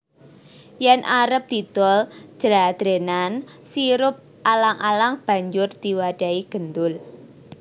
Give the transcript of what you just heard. Yen arep didol jladrenan sirup alang alang banjur diwadhahi gendul